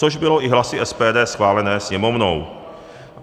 Což bylo i hlasy SPD schváleno Sněmovnou.